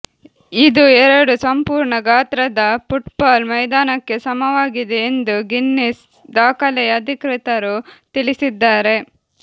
ಇದು ಎರಡು ಸಂಪೂರ್ಣ ಗಾತ್ರದ ಫುಟ್ಬಾಲ್ ಮೈದಾನಕ್ಕೆ ಸಮವಾಗಿದೆ ಎಂದು ಗಿನ್ನೆಸ್ ದಾಖಲೆಯ ಅಧಿಕೃತರು ತಿಳಿಸಿದ್ದಾರೆ